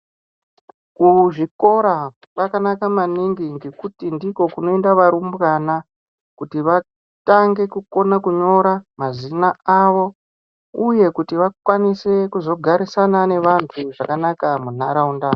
Kuzvikora kwakanaka maningi ngekuti ndiko kunoenda varumbwana kuti vatange kukona kunyora mazina avo uye kuti vakwanise kuzogarisana nevantu zvakanaka munharaunda